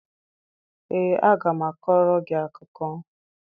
Ee, aga m akọrọ gị akụkọ.